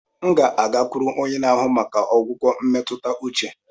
M ga-agakwuru onye na-ahụ maka ọgwụgwọ emetuta uche.